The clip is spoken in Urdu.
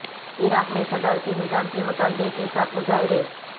عراق میں صدارتی نظام کے مطالبے کے ساتھ مظاہرے